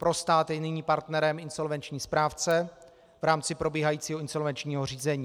Pro stát je nyní partnerem insolvenční správce v rámci probíhajícího insolvenčního řízení.